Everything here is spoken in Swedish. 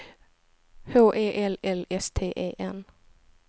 H E L L S T E N